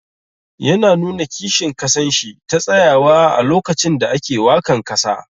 Yana nuna kishin kasan shi ta tsayawa a lokacin da ake wakan kasa.